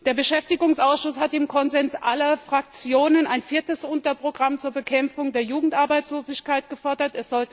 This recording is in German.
Der Beschäftigungsausschuss hat im Konsens aller Fraktionen ein viertes Unterprogramm zur Bekämpfung der Jugendarbeitslosigkeit gefordert.